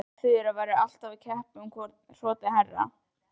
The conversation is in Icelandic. Þura væru alltaf að keppa um hvor gæti hrotið hærra.